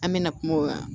An mɛna kuma o kan